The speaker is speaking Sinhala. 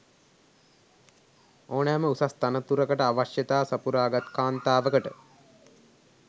ඕනෑම උසස් තනතුරකට අවශ්‍යතා සපුරා ගත් කාන්තාවකට